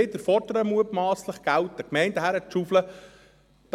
Dort fordern wir mutmasslich wieder, dass den Gemeinden Geld hingeschaufelt wird.